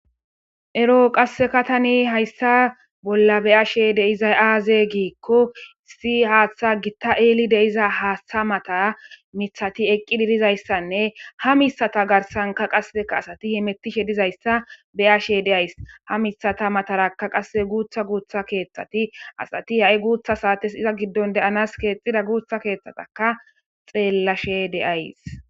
ero qasseka tani hayssa bolla beyashe deizay aaze giikko issi haaththa gitta eeli deiza haaththa mataa mithati eqqi didizayssanne ha misata garsanka qasseka asati himetishe dizayssa beyashe deays ha mithata mataraka qasse guutha guutha keeththati asati ha7i guutha saates iza giddon deyanas keexxida guutha keeththataka xeellashe deyays